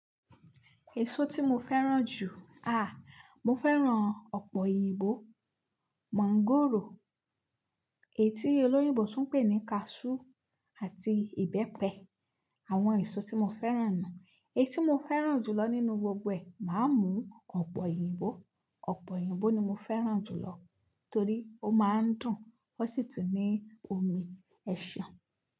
Èso tí mo fẹ́ràn jù, ah, mo fẹ́ràn ọ̀pe oyínbo, mangòrò, èyí tí olóyìnbó tún ń pè ní cashew àti ìbẹ́pẹ. Àwọn èso tí mo fẹ́ràn ni, èyí tí mo fẹ́ràn jù lọ nínú gbogbo ẹ̀, màá mú ọ̀pe oyinìbo. Ọ̀pe oyinbo ni mo fẹ́ràn jù lọ torí ó máa ń dùn, ó sì tún ní omi ẹ̀ṣàn.